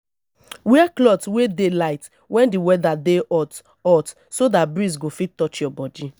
wear cloth wey dey light when di weather dey hot hot so dat breeze go fit touch your body